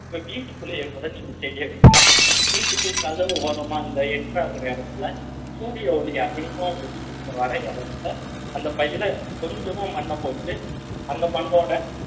உங்க வீட்டுக்குள்ளேயே கூட நீங்க செய்ய வைக்கலாம் வீட்டுக்கு கதவு ஓரமா அந்த enter ஆகுற இடத்துல சூரிய ஒளி அதிகமா உங்க வீட்டுக்கு வர இடத்துல அந்த பையில கொஞ்சமா மண்ணப் போட்டு அந்த மண்ணோட